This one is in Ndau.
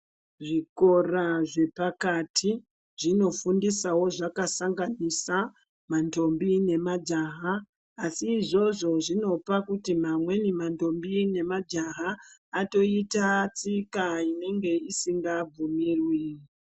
Zvikoro zvapakati zvinofundisawo zvakasanganisa ndombi nemajaha asi zviya zviya zvinopawo ndombi nemajaha atoita tsika inenge isingabvumiwi.